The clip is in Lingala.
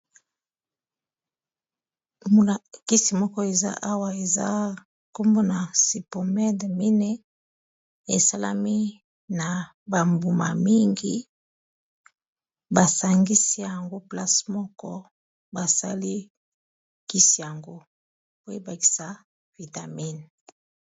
Tomona kisi moko eza awa eza nkombo na sipomede mine esalami na ba mbuma mingi basangisi yango place moko basali kisi yango po ebakisa vitamine.